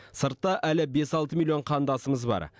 сыртта әлі бес алты миллион қандасымыз бар